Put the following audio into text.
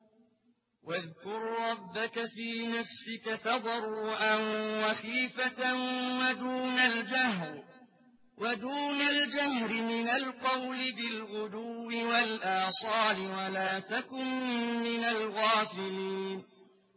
وَاذْكُر رَّبَّكَ فِي نَفْسِكَ تَضَرُّعًا وَخِيفَةً وَدُونَ الْجَهْرِ مِنَ الْقَوْلِ بِالْغُدُوِّ وَالْآصَالِ وَلَا تَكُن مِّنَ الْغَافِلِينَ